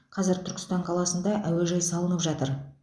қазір түркістан қаласында әуежай салынып жатыр